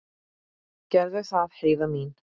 Gerðu það, Heiða mín.